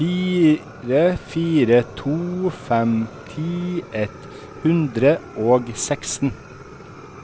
fire fire to fem ti ett hundre og seksten